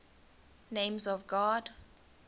names of god